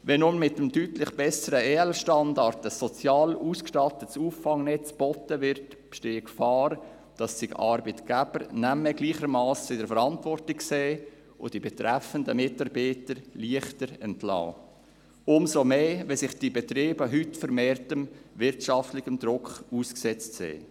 Wenn nun mit dem deutlich besseren EL-Standard ein sozial ausgestattetes Auffangnetz angeboten wird, besteht die Gefahr, dass sich Arbeitgeber nicht mehr gleichermassen in der Verantwortung sehen und die betreffenden Mitarbeiter leichter entlassen, umso mehr, als sich diese Betriebe heute vermehrtem wirtschaftlichem Druck ausgesetzt sehen.